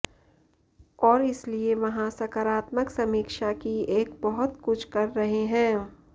और इसलिए वहाँ सकारात्मक समीक्षा की एक बहुत कुछ कर रहे हैं